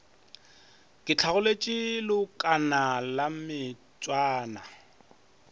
ke hlagoletše leokana la mešwana